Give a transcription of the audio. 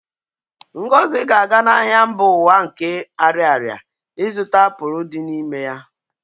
Ngozi ga-aga n'ahịa mba ụwa nke Ariaria ịzụta apụl dị n'ime ya